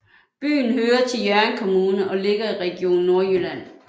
Byen hører til Hjørring Kommune og ligger i Region Nordjylland